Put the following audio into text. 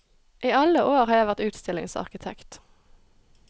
I alle år har jeg vært utstillingsarkitekt.